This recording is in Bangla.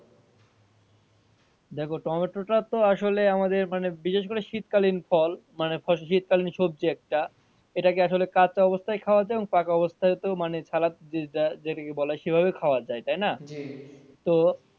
দেখো টমেটো টা তো আসলে আমাদের মানে বিশেষ করে শীতকালীন ফল মানে শীতকালীন সবজি একটা এটা কে আসলে কাঁচা অবস্থায় খাওয়া যায় পাকা অবস্থা তেও মানে ছালা যেটা যেটা কে বলা যায় সেভাবেও খাওয়া যায় তাইনা?